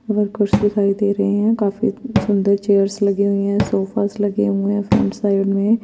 blue purse दिखाई दे रही है काफी सुन्दर चेयर्स लगी हुई है सोफे लगे हुए है --